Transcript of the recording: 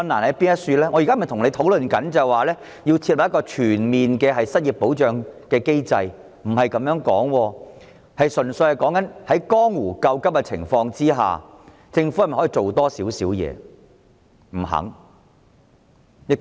我不是要跟局長討論設立全面失業保障機制，純粹是在江湖救急的情況下，政府可否再多做一點？